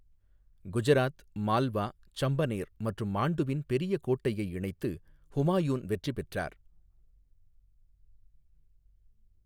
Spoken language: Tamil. குஜராத், மால்வா, சம்பனேர் மற்றும் மாண்டுவின் பெரிய கோட்டையை இணைத்து ஹுமாயூன் வெற்றி பெற்றார்.